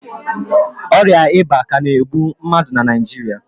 Ọrịa ịba ka na egbu mmadụ na Naijiria